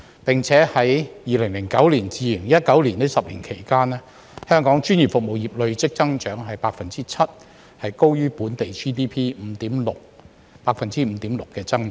並且自2009年至2019年這10年期間，香港專業服務業累計增長 7%， 高於本地 GDP 5.6% 的增長。